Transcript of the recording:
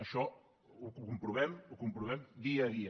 això ho comprovem ho comprovem dia a dia